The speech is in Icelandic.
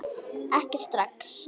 Ekki strax